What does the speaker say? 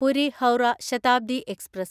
Puri Howrah Shatabdi express